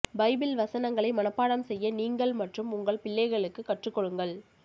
Bible வசனங்களை மனப்பாடம் செய்ய நீங்கள் மற்றும் உங்கள் பிள்ளைகளுக்கு கற்றுக்கொடுங்கள்